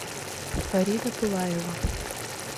фарида пылаева